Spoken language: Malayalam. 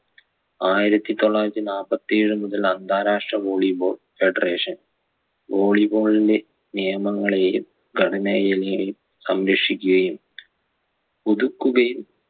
ആയിരത്തി തൊള്ളായിരത്തി നാപ്പത്തേഴ് മുതൽ അന്താരാഷ്ട്ര volleyball federation volleyball ന്റെ നിയമങ്ങളെയും ഘടനയെയും സംരക്ഷിക്കുകയും പുതുക്കുകയും